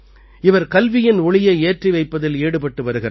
இவர் கல்வியின் ஒளியை ஏற்றி வைப்பதில் ஈடுபட்டு வருகிறார்